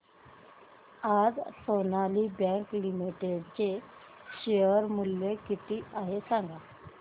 आज Sonali bank limited चे share मूल्य किती आहे सांगा